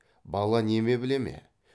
бала неме біле ме